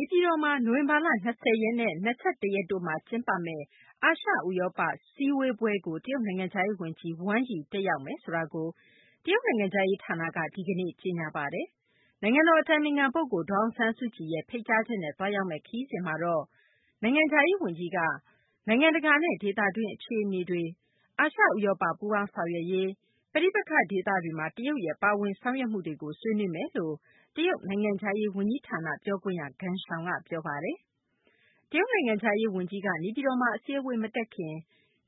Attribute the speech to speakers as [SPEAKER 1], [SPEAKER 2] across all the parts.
[SPEAKER 1] ေပြည်တော်မှာ နိုဝင်ဘာလ ၂၀ နဲ့ ၂၁ ရက်တို့မှာ ကျင်းပမယ့် အာရှ ဥရောပ စည်းဝေးပွဲကို တရုတ်နိုင်ငံခြားရေး ဝန်ကြီး Wang Yi တက်ရောက်မယ်ဆိုတာကို တရုတ်နိုင်ငံခြားရေး ဌာနက ဒီကနေ့ ကြေညာပါတယ်။ နိုင်ငံတော် အတိုင်ပင်ခံ ပုဂ္ဂိုလ် ဒေါ်အောင်ဆန်းစုကြည်ရဲ့ ဖိတ်ကြားချက်နဲ့ သွားရောက်မယ့် ခရီးစဉ် အတွင်းမှာတော့ တရုတ်နိုင်ငံခြားရေး ဝန်ကြီးက နိုင်ငံတကာနဲ့ ဒေသတွင်း အခြေအနေတွေ၊ နောက် အာရှ - ဥရောပ ပူးပေါင်းဆောင်ရွက်ရေး၊ နောက် ပဋိပက္ခဒေသတွေမှာ တရုတ်ရဲ့ ပါဝင်ဆောင်ရွက်မှုတွေကို ဆွေးနွေးမယ်လို့လည်း တရုတ် နိုင်ငံခြားရေး ဝန်ကြီးဌာန ပြောခွင့်ရ ဂန်ရှောင်က ပြောပါတယ်။ တရုတ် နိုင်ငံခြားရေး ဝန်ကြီးက နေပြည်တော်မှာ အစည်းအဝေး မတက်ခင်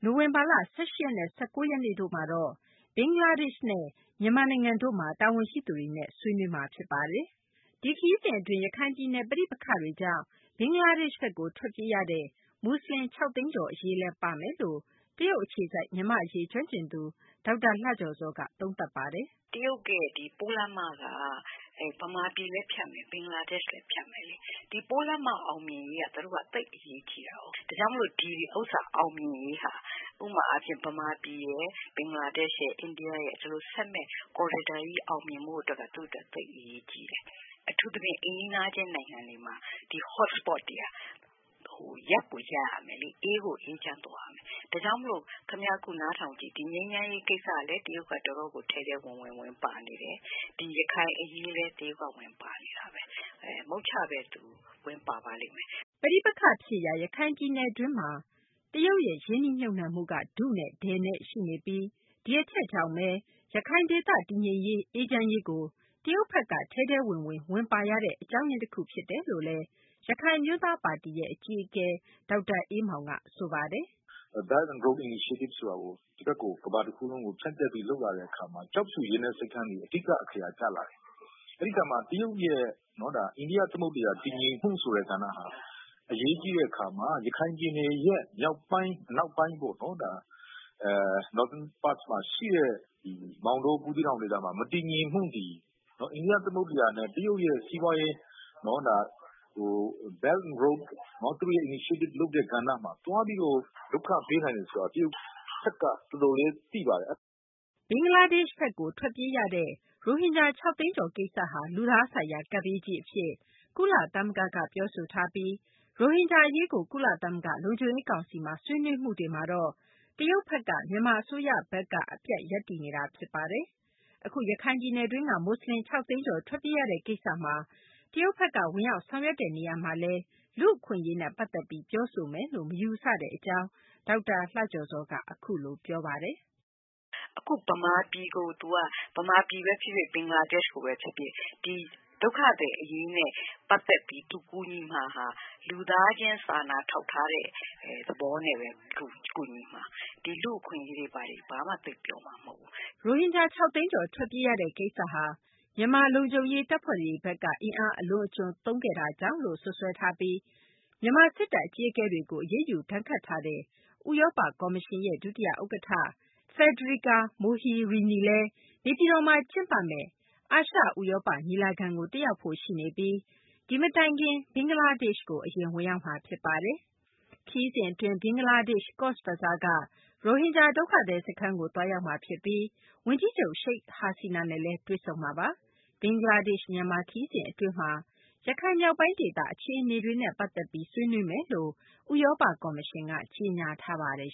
[SPEAKER 1] နိုဝင်ဘာ ၁၈ နဲ့ ၁၉ ရက်တို့မှာတော့ ဘင်္ဂလားဒေရှ့် နိုင်ငံနဲ့ မြန်မာနိုင်ငံတို့မှာ တာဝန်ရှိသူတွေနဲ့ သွားရောက် ဆွေးနွေးမှာပါ။ ဒီခရီးစဉ် အတွင်း ရခိုင်ပြည်နယ်တွင်း ပဋိပက္ခတွေကြောင့် ဘင်္ဂလားဒေရှ့်ဘက်ကို ထွက်ပြေးရသူ မူဆလင် ၆ သိန်းကျော် အရေးလည်း ပါလိမ့်မယ်လို့ တရုတ် အခြေစိုက် မြန်မာ့ အရေး ကျွမ်းကျင်သူ ဒေါက်တာ လှကျော်ဇောက အခုလို ပြောပါတယ်။
[SPEAKER 2] “တရုတ်ရဲ့ ပိုးလမ်းမက မြန်မာပြည်လဲ ဖြတ်မယ် ဘင်္ဂလားဒေ့ရှ်လည်းဖြတ်မယ်။ ဒီပိုးလမ်းမ အောင်မြင်ရေးက သူတို့အတွက် သိပ်အရေးကြီးတာ။ ဒါကြောင့်မို့လို့ ဒီဥစ္စာအောင်မြင်ရေးဟာ ဥပမာအားဖြင့် မြန်မာပြည်ရယ်၊ ဘင်္ဂလားဒေ့ရှ်ရယ် ၊ အိန္ဒိယရယ် ဒီလိုဆက်မည့် corridor ကြီးအောင်မြင်ဖို့က သူတို့အတွက် သိပ်အရေးကြီးတယ် အထူးသဖြင့် အိမ်နီးနားချင်းနိုင်ငံတွေမှာ ဒီ hot sport တွေက ရပ်ကိုရပ်ရမယ်လေ။ အေးကို အေးချမ်းသွားရမယ်။ ဒါကြောင့်မို့လို့ အခုနားထောင်ကြည့် ဒီငြိမ်းချမ်းရေးကိစ္စလည်း တရုတ်က တော်တော်ကို ထဲထဲဝင်ဝင် ဝင်ပါနေတယ်။ ဒီရခိုင်အရေးလည်း တရုတ်က ဝင်ပါနေတယ်။ မုတ်ချ သူဝင်ပါပါလိမ့်မယ်
[SPEAKER 1] ။” ပဋိပက္ခ ဖြစ်ရာ ရခိုင်ဒေသတွင်းမှာ တရုတ်ရဲ့ ရင်းနှီးမြှုပ်နှံမှုက ထုနဲ့ ထည်နဲ့ ရှိနေပြီး ဒီအချက်ကြောင့်ဘဲ ရခိုင်ဒေသ တည်ငြိမ်ရေး အေးချမ်းရေးကို တရုတ်ဘက်က ထဲထဲဝင်ဝင် ဝင်ပါရတဲ့ အကြောင်းရင်း တခုဖြစ်တယ်လို့လည်း ရခိုင်အမျိုးသားပါတီ အကြီးအကဲ ဒေါက်တာ အေးမောင်က ဆိုပါတယ်
[SPEAKER 3] ။ “Belt and Road initiative ဆိုတာကို ကမ္ဘာတခုလုံးကို ဖြန့်ပြီးလုပ်လာတဲ့အခါမှာ ကျောက်ဖြူရေနက်ဆိပ်ကိမ်းသည် အဓိက အခရာကျလာတယ် အဲဒီအခါမှာ တရုတ်ရဲ့ အိန္ဒိယ သမုဒ္ဒရာ တည်ငြိမ်မှုဆိုတဲ့ ကဏ္ဍဟာ အရေးကြီးတဲ့အခါမှာ ရခိုင်ပြည်နယ်ရဲ့ မြောက်ပိုင်း အနောက်ပိုင်းပေါ့နော် Northern Parts မှာရှိတဲ့ မောင်တော၊ ဘူးသီးတောင်ဒေသမှာ မတည်ငြိမ်မှုတွေ အိန္ဒိယ သမုဒ္ဒရာနဲ့ တရုတ်ရဲ့ စီးပွားရေး Belt and Road initiative လုပ်တဲ့ ကဏ္ဍမှာ သွားပြီးတော့ ဒုက္ခပေးနိုင်တယ်ဆိုတာ တရုတ်ဘက်က တော်တော်လေး သိပါတယ်။
[SPEAKER 1] ” ဘင်္ဂလားဒေရှ့်ဘက်ကို ထွက်ပြေးရတဲ့ ရိုဟင်ဂျာ ၆ သိန်းကျော် ကိစ္စဟာ လူသားဆိုင်ရာ ကပ်ဘေးကြီး အဖြစ် ကုလသမဂ္ဂက ပြောဆိုထားပြီး ရိုဟင်ဂျာ အရေးကို ကုလသမဂ္ဂ လုံခြုံရေး ကောင်စီမှာ ဆွေးနွေးမှုတွေမှာလည်း တရုတ်ဘက်က မြန်မာ အစိုးရဘက်က အပြတ် ရပ်တည်နေတာ ဖြစ်ပါတယ်။ အခု ရခိုင်ပြည်နယ်တွင်းက မူဆလင် ၆ သိန်းကျော် ထွက်ပြေးရတဲ့ ကိစ္စမှာတော့ တရုတ်ဘက်က ဝင်ရောက် ဆောင်ရွက်တဲ့ နေရာမှာ လူ့အခွင့်အရေးနဲ့ ပတ်သက်ပြီး ပြောဆိုမယ်လို့ မယူဆတဲ့ အကြောင်း ဒေါက်တာ လှကျော်ဇောက အခုလို ပြောပါတယ်။
[SPEAKER 2] “အခုသူက မြန်မာပြည်ကိုပဲဖြစ်ဖြစ်၊ ဘင်္ဂလားဒေရှ့်ကိုပဲ ဖြစ်ဖြစ် ဒီ ဒုက္ခသည်အရေးနဲ့ ပတ်သက်ပြီး သူကူညီမှာဟာ လူသားချင်းစာနာထောက်ထားတဲ့ သဘောနဲ့ပဲ သူကူညီမှာ။ လူ့အခွင့်အရေးတွေဘာတွေ ဘာမှ သိပ်ပြောမှာမဟုတ်
[SPEAKER 1] ဘူး။” ရိုဟင်ဂျာ ၆ သိန်းကျော် ထွက်ပြေးရတဲ့ ကိစ္စဟာ မြန်မာ လုံခြုံရေး တပ်ဖွဲ့တွေဘက်က အင်အားအလွန်အကျွံသုံးခဲ့တာကြောင့်လို့ စွပ်စွဲထားပြီး မြန်မာ စစ်တပ် အကြီးအကဲတွေကို အရေးယူဒဏ်ခတ်ထားတဲ့ ဥရောပ ကော်မရှင်ရဲ့ ဒုတိယ ဥက္ကဌ Fedrica Mogherini လည်း နေပြည်တော်မှာ ကျင်းပမယ့် အာရှ ဥရောပ ညီလာခံကို တက်ရောက်ဖို့ ရှိနေပြီး ဒီမတိုင်ခင်မှာ ဘင်္ဂလားဒေရှ့်ကို အရင် ဝင်ရောက်မှာ ဖြစ်ပါတယ်။ ခရီးစဉ် အတွင်း ဘင်္ဂလားဒေရှ့် ကော့ဇ်ဘဇားက ရိုဟင်ဂျာ ဒုက္ခသည် စခန်းကို သွားရောက်မှာ ဖြစ်ပြီး ဝန်ကြီးချုပ် ရှိခ်ဟာဆီနာနဲ့လည်း တွေ့ဆုံမှာပါ။ ဘင်္ဂလားဒေရှ့် - မြန်မာ ခရီးစဉ် အတွင်းမှာတော့ ရခိုင်မြောက်ပိုင်းဒေသ အခြေအနေတွေနဲ့ ပတ်သက်ပြီး ဆွေးနွေးမယ်လို့လည်း ဥရောပ ကော်မရှင်က ကြေညာထားပါတယ်